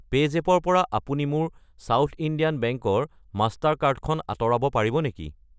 PayZapp ৰ পৰা আপুনি মোৰ সাউথ ইণ্ডিয়ান বেংক ৰ মাষ্টাৰ কাৰ্ড খন আঁতৰাব পাৰিব নেকি?